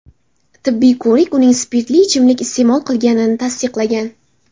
Tibbiy ko‘rik uning spirtli ichimlik iste’mol qilganini tasdiqlagan.